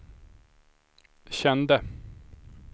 kände